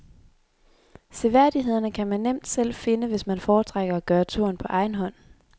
Seværdighederne kan man nemt selv finde, hvis man foretrækker at gøre turen på egen hånd.